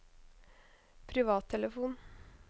privattelefon